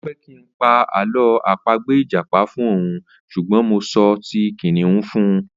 O fẹ́ kí n pa àlọ́ àpagbè ìjàpá fún òun ṣùgbọ́n mo sọ ti kìnnìún fún un.